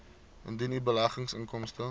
indien u beleggingsinkomste